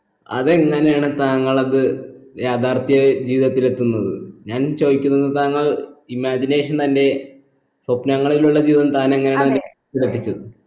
അത് എങ്ങനെയാണ് താങ്കൾ അത് യാഥാർഥ്യ ജീവിതത്തിൽ എത്തുന്നത് ഞാൻ ചോയിക്കുന്നത് താങ്കൾ imagination തന്റെ സ്വപ്നങ്ങളിലുള്ള ജീവിതം താൻ എങ്ങനെയാണ് ശ്രദ്ധിച്ചത്